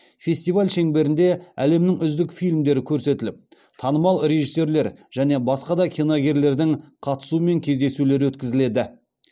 фестиваль шеңберінде әлемнің үздік фильмдері көрсетіліп танымал режиссерлер және басқа да киногерлердің қатысуымен кездесулер өткізіледі